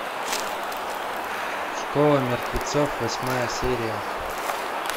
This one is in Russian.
школа мертвецов восьмая серия